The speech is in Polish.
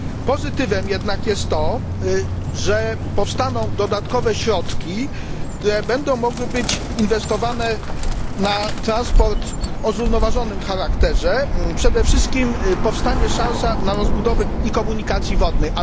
Pozytywem jednak jest to, że powstaną dodatkowe środki, które będą mogły być inwestowane w transport o zrównoważonym charakterze, przede wszystkim powstanie szansa na rozbudowę szybkich kolei i komunikacji wodnej.